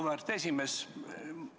Auväärt esimees!